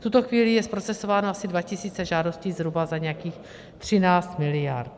V tuto chvíli je zprocesováno asi 2 tisíc žádostí, zhruba za nějakých 13 miliard.